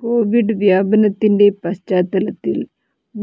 Covid വ്യാപനത്തിന്റെ പശ്ചാത്തലത്തിൽ